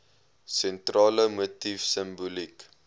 sentrale motief simboliek